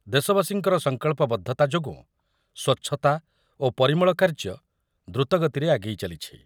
ଦେଶବାସୀଙ୍କର ସଂକଳ୍ପବଦ୍ଧତା ଯୋଗୁଁ ସ୍ୱଚ୍ଛତା ଓ ପରିମଳ କାର୍ଯ୍ୟ ଦ୍ରୁତଗତିରେ ଆଗେଇ ଚାଲିଛି